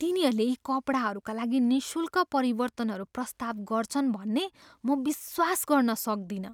तिनीहरूले यी कपडाहरूका लागि निःशुल्क परिवर्तनहरू प्रस्ताव गर्छन् भन्ने म विश्वास गर्न सक्दिनँ!